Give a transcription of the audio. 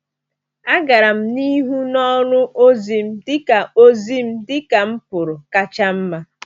A gara m n’ihu n’ọrụ ozi m dịka ozi m dịka m pụrụ kacha mma.